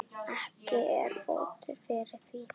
Ekki er fótur fyrir því.